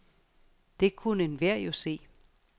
Det kunne enhver jo se.